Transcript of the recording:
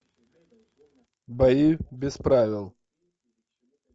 бои без правил